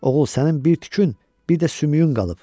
Oğul sənin bir tükün, bir də sümüyün qalıb.